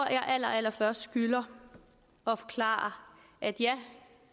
jeg allerallerførst skylder at forklare at ja